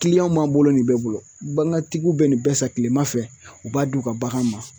b'an bolo nin bɛɛ bolo bagantigiw bɛ nin bɛɛ san kilema fɛ u b'a d' u ka bagan ma